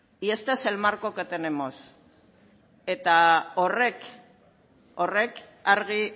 y este es el marco que tenemos eta horrek argi